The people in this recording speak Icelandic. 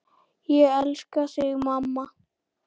Ég elska þig, mamma.